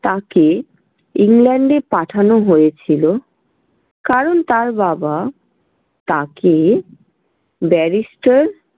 তাঁকে England এ পাঠানো হয়েছিল কারণ তাঁর বাবা তাঁকে Barrister ।